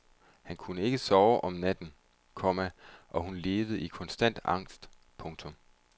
Hun kunne ikke sove om natten, komma og hun levede i konstant angst. punktum